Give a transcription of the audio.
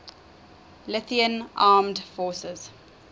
lithuanian armed forces